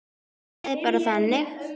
Það er bara þannig.